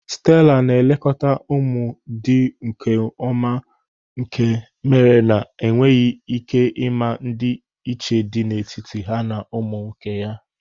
Stela na-elekọta ụmụ dị nkeọma nke mere na i nweghị ịma ndị iche dị n'etiti ha na ụmụ nke ya.